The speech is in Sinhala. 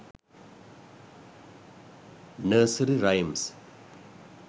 nursery rhymes